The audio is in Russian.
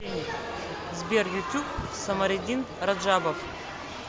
сбер ютуб самариддин раджабов